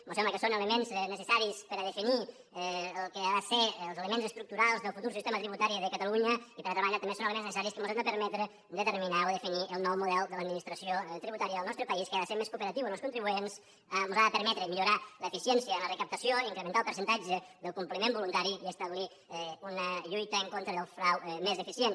mos sembla que són elements necessaris per a definir el que han de ser els elements estructurals del futur sistema tributari de catalunya i per altra banda també són elements necessaris que mos han de permetre determinar o definir el nou model de l’administració tributària del nostre país que ha de ser més cooperatiu amb els contribuents ens ha de permetre millorar l’eficiència en la recaptació incrementar el percentatge del compliment voluntari i establir una lluita en contra del frau més eficient